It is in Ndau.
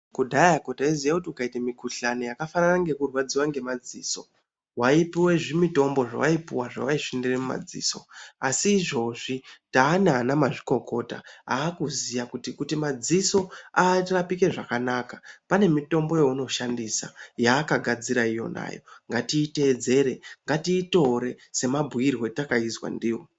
Kudhayako taiziye kuti kukaite mikuhlani yakafanana nekurwadziva ngemadziso waipuve zvimitombo zvavaipuva zvavaiisvinira mumadziso. Asi izvozvi tana ana mazvikokota akuziya kuti kuti madziso arapike zvakanaka pane mitombo yaunoshandisa yaakagadzira iyonayo. Ngatiitedzere ngatiitore semabhuirwe atakaitakaizwa ndiwo.